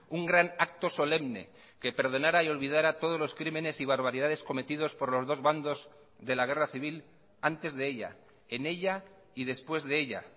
un gran acto solemne que perdonara y olvidara todos los crímenes y barbaridades cometidos por los dos bandos de la guerra civil antes de ella en ella y después de ella